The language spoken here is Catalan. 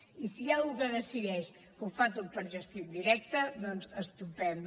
i si hi ha algú que decideix que ho fa tot per gestió indirecta doncs estupend